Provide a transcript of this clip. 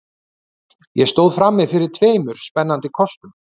Ég stóð frammi fyrir tveimur spennandi kostum.